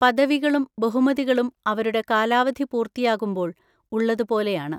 പദവികളും ബഹുമതികളും അവരുടെ കാലാവധി പൂർത്തിയാകുമ്പോൾ ഉള്ളത് പോലെയാണ്.